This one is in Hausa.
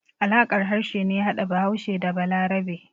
Alaƙar harshe ne ya hada Bahaushe da Balarabe.